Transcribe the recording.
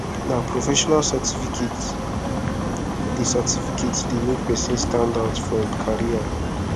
na professional certificate dey certificate dey make pesin standout for im career